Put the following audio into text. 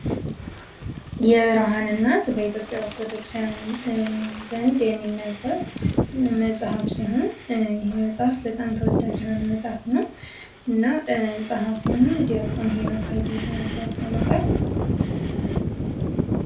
መጽሐፍ : በአንድ ርዕሰ ጉዳይ ላይ የተጻፉ፣ በገጾች ተሰብስበውና ታሽገው የሚቀርቡ የጽሑፍ ሥራዎች። ትምህርታዊ፣ ታሪካዊ፣ ሃይማኖታዊ ወይም ልብ ወለድ ሊሆኑ ይችላሉ።